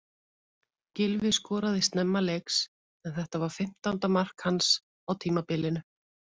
Gylfi skoraði snemma leiks en þetta var fimmtánda mark hans á tímabilinu.